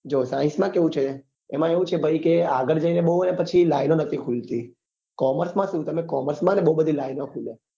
જો science માં કેવું છે કે એમાં એવું કે ભાઈ આગળ જઈ ને હે ને બઉ હે ને પછી line ઓ નથી ખુલતી commerce શું તમે commerce બઉ બધી line ઓ ખુલે